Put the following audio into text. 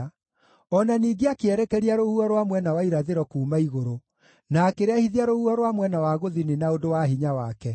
O na ningĩ akĩerekeria rũhuho rwa mwena wa irathĩro kuuma igũrũ, na akĩrehithia rũhuho rwa mwena wa gũthini na ũndũ wa hinya wake.